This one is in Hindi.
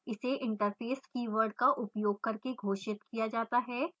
इसे interface कीवर्ड का उपयोग करके घोषित किया जाता है